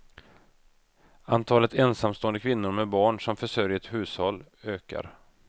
Antalet ensamstående kvinnor med barn som försörjer ett hushåll ökar.